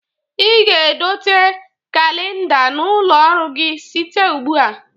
Ị ga-edote kalinda n'ụlọ ọrụ gi site ugbu a.